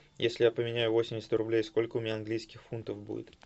если я поменяю восемьдесят рублей сколько у меня английских фунтов будет